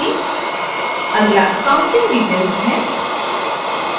अगला accounting details है